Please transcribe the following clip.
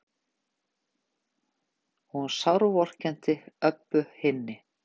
Og hún sárvorkenndi Öbbu hinni.